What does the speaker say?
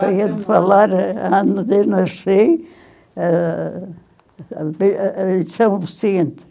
Para ele falar o ano que eu nasci, eh, em São Vicente.